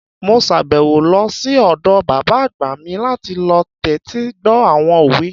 Mo sàbẹ̀wò lọ sí ọ̀dọ̀ bàbá àgbà mi láti lọ tẹ́tí gbọ́ àwọn òwe